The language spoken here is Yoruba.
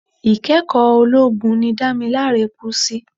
Ikẹ́kọ̀ọ́ ológun ni Damilare kú sí.